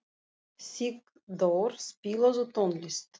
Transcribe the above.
Sigdór, spilaðu tónlist.